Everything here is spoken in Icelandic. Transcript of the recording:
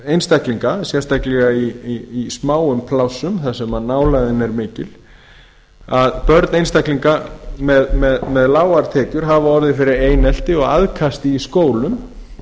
einstaklinga sérstaklega í smáum plássum þar sem nálægðin er mikil að börn einstaklinga með lágar tekjur hafa orðið fyrir einelti og aðkasti í skólum